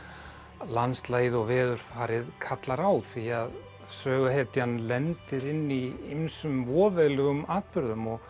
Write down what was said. landslagið og veðurfarið kallar á því að söguhetjan lendir inn í ýmsum voveiflegum atburðum og